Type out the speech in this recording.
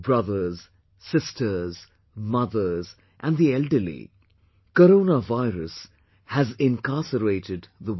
Brothers, Sisters, Mothers and the elderly, Corona virus has incarcerated the world